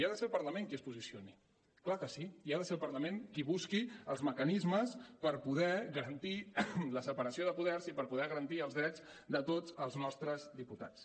i ha de ser el parlament qui es posicioni és clar que sí i ha de ser el parlament qui busqui els mecanismes per poder garantir la separació de poders i per poder garantir els drets de tots els nostres diputats